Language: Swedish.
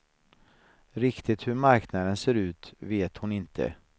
Riktigt hur marknaden ser ut vet hon inte.